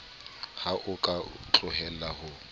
ha o ka tlohella ho